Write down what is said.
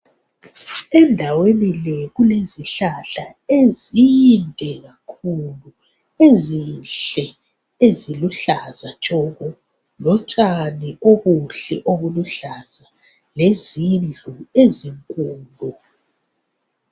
Endaweni le kulezihlahla ezinde kakhulu, ezinhle eziluhlaza tshoko lotshani obuhle obuluhlaza lezindlu ezinkulu.